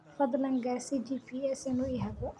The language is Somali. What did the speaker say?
fadlan gaarsii g. p. s. inuu i hago